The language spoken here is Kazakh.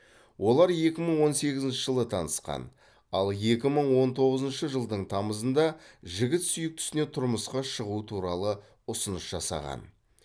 олар екі мың он сегізінші жылы танысқан ал екі мың он тоғызынщы жылдың тамызында жігіт сүйіктісіне тұрмысқа шығу туралы ұсыныс жасаған